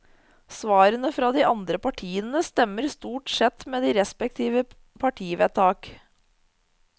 Svarene fra de andre partiene stemmer stort sett med de respektive partivedtak.